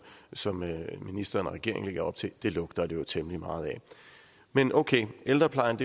som ministeren og regeringen lægger op til derimod det lugter det jo temmelig meget af men okay ældreplejen